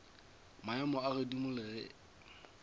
maemo a godimo le ge